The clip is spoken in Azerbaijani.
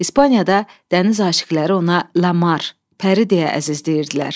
İspaniyada dəniz aşiqələri ona Lamar, Pəri deyə əzizləyirdilər.